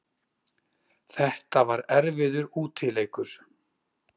Þetta var erfiður útileikur